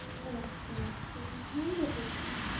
আচ্ছা আচ্ছা। ভালো তো তাহলে।